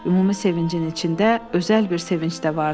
Ümumi sevincin içində özəl bir sevinc də vardı.